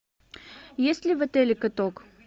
есть ли в отеле каток